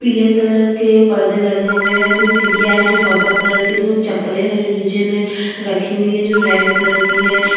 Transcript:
पीले कलर के पर्दे लगे हुए है फिर सीढियाँ है जो पर्पल कलर के दो चप्पलें है जो नीचे में रखी हुई है जो रेड कलर की हैं।